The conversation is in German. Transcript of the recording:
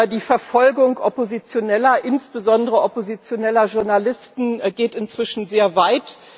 Die Verfolgung Oppositioneller, insbesondere oppositioneller Journalisten, geht inzwischen sehr weit.